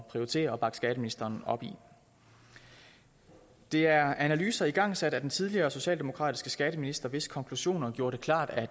prioritere og bakke skatteministeren op i det er analyser igangsat af den tidligere socialdemokratiske skatteminister hvis konklusioner gjorde det klart at